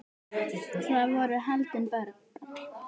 Þar voru haldin böll.